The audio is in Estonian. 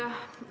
Aitäh!